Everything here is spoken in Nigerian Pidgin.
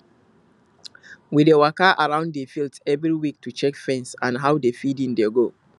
we dey waka round the field every week to check fence and how the feeding dey go